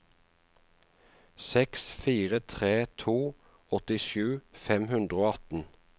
seks fire tre to åttisju fem hundre og atten